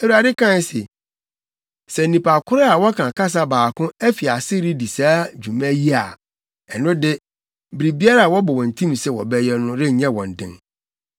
Awurade kae se, “Sɛ nnipa koro a wɔka kasa baako afi ase redi saa dwuma yi a, ɛno de biribiara a wɔbɔ wɔn tirim sɛ wɔbɛyɛ no renyɛ wɔn den.